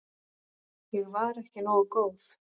Ég var ekki nógu góð.